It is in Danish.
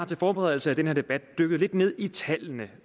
til forberedelse af den her debat dykket lidt ned i tallene